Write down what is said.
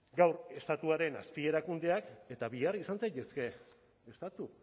gaur estatuaren azpi erakundeak eta bihar izan zaitezke estatu